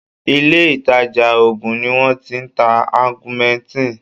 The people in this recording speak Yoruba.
Ilé ìtàjà oògùn ni wọ́n ti ń ta augmentin.